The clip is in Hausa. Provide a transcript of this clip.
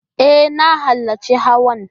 E, na halarci hawan.